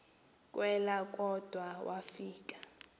kelwa kodwa wafika